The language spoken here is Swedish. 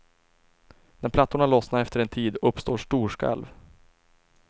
När plattorna lossnar efter en tid uppstår storskalv.